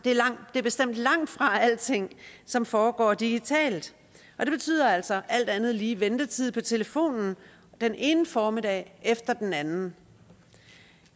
det er bestemt langtfra alting som foregår digitalt det betyder altså alt andet lige ventetid på telefonen den ene formiddag efter den anden